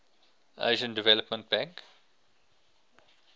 asian development bank